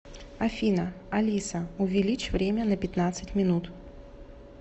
афина алиса увеличь время на пятнадцать минут